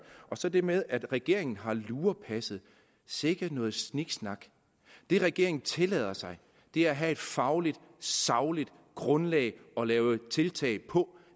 så til det med at regeringen har lurepasset sikke noget sniksnak det regeringen tillader sig er at have et fagligt sagligt grundlag at lave tiltag på